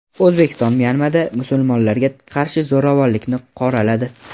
O‘zbekiston Myanmada musulmonlarga qarshi zo‘ravonlikni qoraladi.